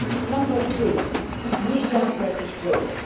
Number three media registration.